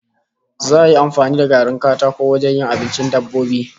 Za'a yi amfani da garin katako wajen yin abincin dabbobi?